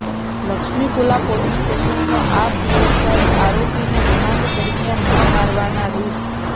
લક્ષ્મીપુલા police સ્ટેશનનો આ PSI આરોપીને રિમાન્ડ દરમિયાન ન મારવાના રૂ